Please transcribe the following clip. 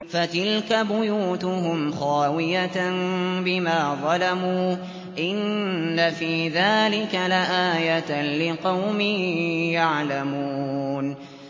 فَتِلْكَ بُيُوتُهُمْ خَاوِيَةً بِمَا ظَلَمُوا ۗ إِنَّ فِي ذَٰلِكَ لَآيَةً لِّقَوْمٍ يَعْلَمُونَ